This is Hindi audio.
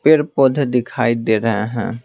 पेड़ पौधे दिखाई दे रहे हैं।